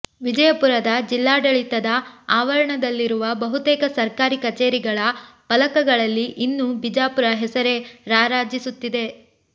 ವಿಜಯಪುರದ ಜಿಲ್ಲಾಡಳಿತದ ಆವರಣದಲ್ಲಿರುವ ಬಹುತೇಕ ಸರ್ಕಾರಿ ಕಚೇರಿಗಳ ಫಲಕಗಳಲ್ಲಿ ಇನ್ನೂ ಬಿಜಾಪುರ ಹೆಸರೇ ರಾರಾಜಿಸುತ್ತಿದೆ